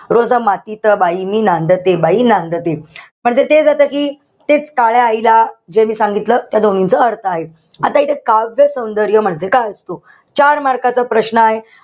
रोज मातीत बाई मी नांदते, बाई मी नांदते. म्हणजे तेच आता कि तेच काळ्या आईला जे मी सांगितलं, त्या दोन्हींच अर्थ आहे. आता इथे काव्य सौंदर्य म्हणजे काय असतो? चार mark चा प्रश्न आहे.